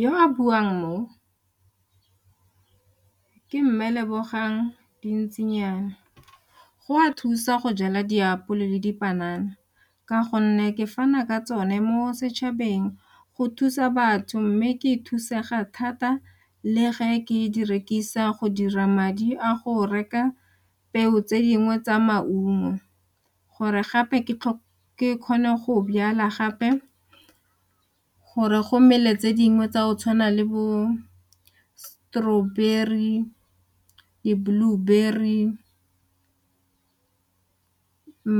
Yo a buang mo ke mme Lebogang Dintsinyana. Go a thusa go jala diapole le dipanana ka gonne ke fana ka tsone mo setšhabeng go thusa batho mme ke e thusega thata le ge ke di rekisa go dira madi a go reka peo tse dingwe tsa maungo gore gape ke kgone go jala gape gore go mmele tse dingwe tsa go tshwana le bo-strawberry, di-blueberry,